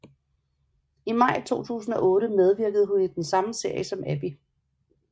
I maj 2008 medvirkede hun i den samme serie som Abby